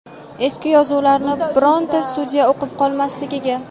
eski yozuvlarni bironta sudya o‘qib qolmasligiga.